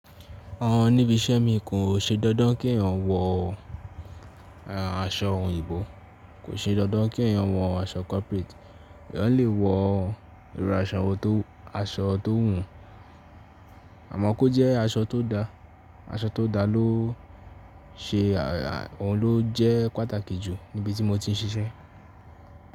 Àwọn níbi iṣẹ́ mi kò ṣe dandan kí èèyàn wọ aṣọ òyìnbó, kò ṣe dandan kí èèyàn wọ aṣọ corporate. Èèyàn lè wọ irú aṣọ tó wùú, àmọ́ kó jẹ́ aṣọ tó da. Aṣọ tó da ló ṣe, òun ló jẹ́ pàtàkì jù níbi tí mo ti ń ṣiṣẹ́.